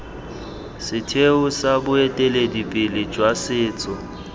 setheo sa boeteledipele jwa setso